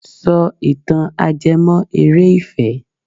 Sọ ìtàn ajẹ́mọ́- eré ìfẹ́!